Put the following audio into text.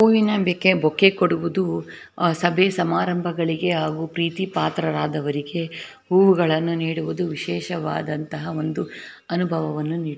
ಹೂವಿನ bouquet bouquet ಕೊಡುವುದು ಸಭೆ ಸಮಾರಂಭಗಳಿಗೆ ಹಾಗು ಪ್ರೀತಿಪಾತ್ರಆದವರಿಗೆ ಹೂವುಗಳನ್ನು ನೀಡುವುದು ವಿಶೇಷವಾದಂತ ಒಂದು ಅನುಭವವನ್ನು ನೀಡುತ್ತದೆ.